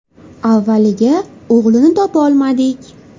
Avvaliga o‘g‘lini topolmadik.